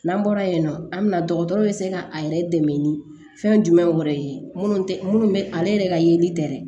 N'an bɔra yen nɔ an bɛna dɔgɔtɔrɔ bɛ se ka a yɛrɛ dɛmɛ ni fɛn jumɛn wɛrɛ ye minnu tɛ minnu bɛ ale yɛrɛ ka yeli tɛ dɛ